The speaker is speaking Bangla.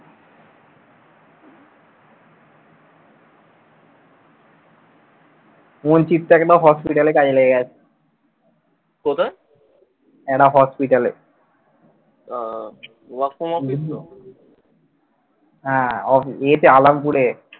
সুমন ঠিকঠাক একটা hospital এ কাজে লেগে গেছে। একটা হসপিটালে আহ এতে আলাম্পুরে।